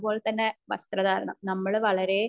അതുപോലെ തന്നെ വസ്ത്ര ധാരണം നമ്മള് വളരെ